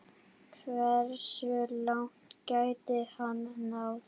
Hversu langt gæti hann náð?